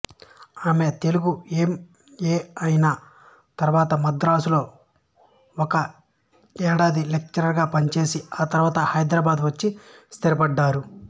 ఆమె Telugu M A అయినతరువాత మద్రాసులో ఒక ఏడాది లెక్చరరుగా పనిచేసి తరువాత హైదరాబాదు వచ్చి స్థిరపడ్డారు